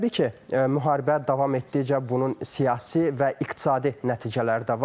Təbii ki, müharibə davam etdikcə bunun siyasi və iqtisadi nəticələri də var.